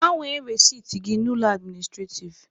Gbanwe resiti gị na ụlọ administrativ!